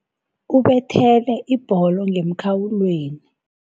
Ubethele ibholo ngemkhawulweni.